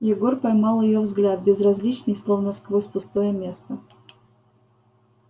егор поймал её взгляд безразличный словно сквозь пустое место